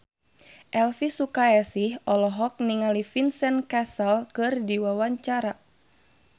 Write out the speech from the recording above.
Elvi Sukaesih olohok ningali Vincent Cassel keur diwawancara